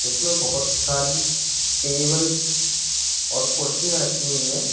इसमें बहोत सारी टेबल और कुर्सियां रखी हुई हैं।